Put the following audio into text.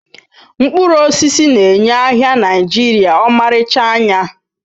Mkpụrụ osisi na-enye ahịa Naijiria ọmarịcha anya